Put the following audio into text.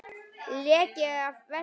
Leki af versta tagi